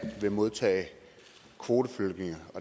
vil modtage kvoteflygtninge